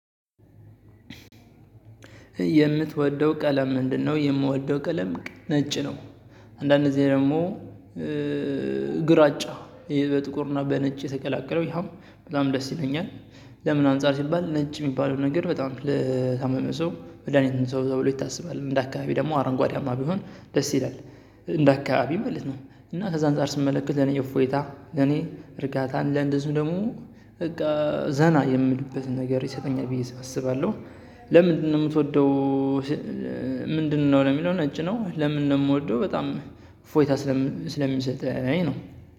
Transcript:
የምትወደው ቀለም ምንድነው? የምወደው ቀለም ነጭ ነው አንዳንዴ ጊዜ ደግሞ ግራጫ ይሄ በጥቁርና በነጭ ተቀላቀለው ያም በጣም ደስ ይለኛል። ለምን አንፃር ሲባል ነጭ የሚባለው ነገር በጣም ለታመመ ሰው መድሃኒት ነው ተብሎ ይታሰባል እንደ አከባቢው ደሞ አረንጓዴያማ ቢሆን ደስ ይላል። እንደ አከባቢ ማለት ነው። እና ከዛ አንፃር ስመለከት ለእኔ እፎይታ ለእኔ እርጋታ ለእንደዚሁ ደግሞ በቃ ዘና የምልበትን ነገር ይሰጠኛል ብዬ አስባለሁ። ለምንድነው የምትወደው? ምንድነው ለሚለው ነጭ ነው ለምን ነው የምወደው በጣም እፎይታ ስለሚሰጥ ነው።